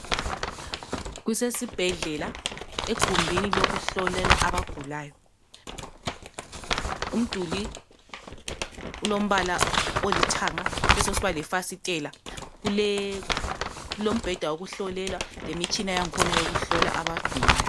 Kusesibhedlela egumbini lokuhlolela abagulayo. Umduli ulombala olithanga kube sokusiba lefasitela. Kulombheda lemitshina yokuhlola abagulayo.